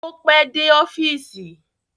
Ó pẹ́ dé ọ́fíìsì